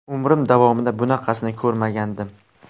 Umrim davomida bunaqasini ko‘rmagandim.